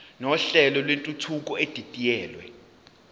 nohlelo lwentuthuko edidiyelwe